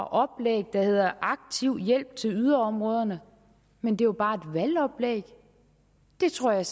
oplæg der hed aktiv hjælp til yderområderne men det var bare et valgoplæg det tror jeg